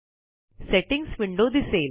settings window दिसेल